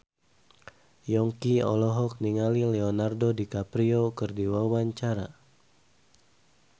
Yongki olohok ningali Leonardo DiCaprio keur diwawancara